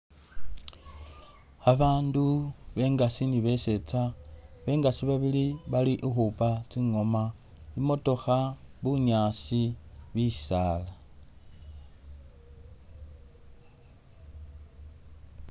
Abandu bengaasi ni beseetsa, bengaasi babili bali ukhupa tsingoma, i'matokha, bunyasi, bisaala.